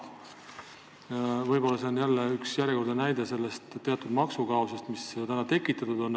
Võib-olla see on järjekordne näide maksukaosest, mis meil tekitatud on.